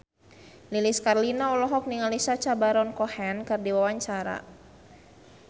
Lilis Karlina olohok ningali Sacha Baron Cohen keur diwawancara